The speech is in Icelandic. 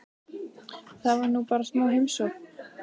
Það var nú bara smá heimsókn.